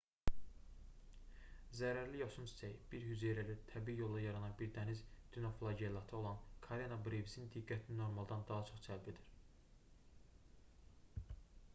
zərərli yosun çiçəyi bir hüceyrəli təbii yolla yaranan bir dəniz dinoflagellatı olan karena brevisin diqqətini normaldan daha çox cəlb edir